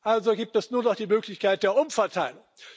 Also gibt es nur noch die Möglichkeit der Umverteilung.